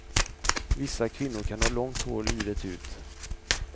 Vissa kvinnor kan ha långt hår livet ut.